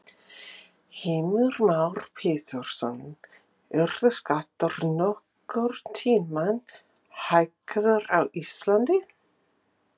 Heimir Már Pétursson: Yrðu skattar nokkurn tímann hækkaðir á Íslandi?